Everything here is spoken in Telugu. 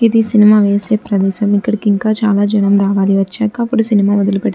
ఇది సినిమా వేసే ప్రదేశం ఇక్కడికి ఇంకా చాలా జనం రావాలి వచ్చాక అప్పుడు సినిమా మొదలు పెడతారు. --